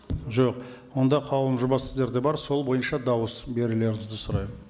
жоқ онда қаулының жобасы сіздерде бар сол бойынша дауыс берулеріңізді сұраймын